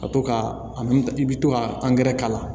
Ka to ka a i bɛ to ka k'a la